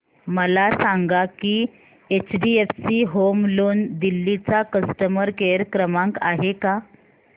मला सांगा की एचडीएफसी होम लोन दिल्ली चा कस्टमर केयर क्रमांक आहे का